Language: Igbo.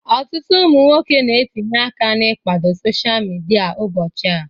Ọtụtụ ụmụ nwoke na-etinye aka na ikwado sosha midia ụbọchị a.